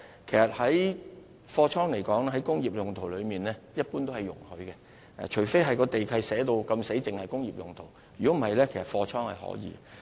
其實，把工業大廈用作貨倉一般是容許的，除非地契註明只可用作工業用途，否則用作貨倉是可以的。